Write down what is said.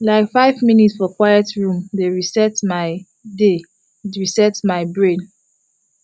like five minute for quiet room dey reset my dey reset my brain